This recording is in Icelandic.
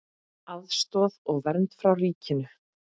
Aðstoð og vernd frá ríkinu